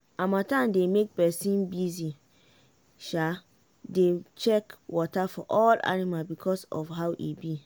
harmattan dey make person busy dey check water for all animal because of how e be.